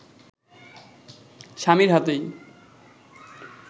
স্বামীর হাতেই